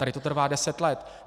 Tady to trvá deset let.